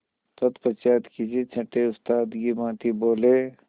तत्पश्चात किसी छंटे उस्ताद की भांति बोले